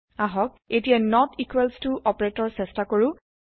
আহক এতিয়া নত ইকোৱেলছ ত অপাৰেতৰ চেষ্টা কৰো